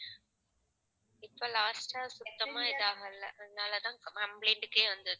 இப்ப last ஆ சுத்தமா இது ஆகலை. அதனாலதான் complaint க்கே வந்தது